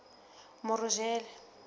morojele